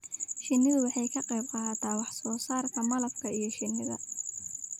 Shinnidu waxay ka qaybqaadataa wax soo saarka malabka iyo shinnida.